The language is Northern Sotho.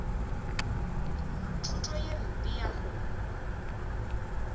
thuto ye mpe ya go